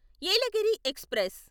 Yelagiri express